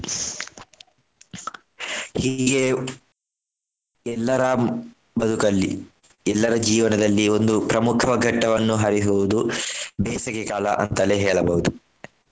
ಹೀಗೆಯೇ ಎಲ್ಲರ ಬದುಕಲ್ಲಿ ಎಲ್ಲರ ಜೀವನದಲ್ಲಿ ಒಂದು ಪ್ರಮುಖ ಘಟ್ಟವನ್ನು ಹರಿಸುವುದು ಬೇಸಗೆಕಾಲ ಅಂತಲೇ ಹೇಳಬಹುದು.